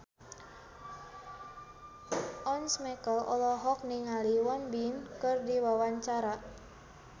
Once Mekel olohok ningali Won Bin keur diwawancara